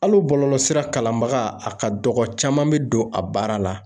Hali bɔlɔlɔsira kalanbaga, a ka dɔgɔ, caman bɛ don a baara la